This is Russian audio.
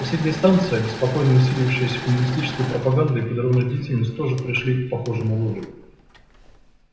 соседние станции обеспокоенные усилившейся коммунистической пропагандой и подрывной деятельностью тоже пришли к похожему выводу